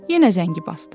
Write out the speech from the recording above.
Yenə zəngi basdım.